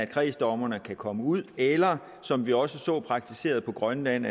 kredsdommerne kan komme ud eller som vi også så praktiseret på grønland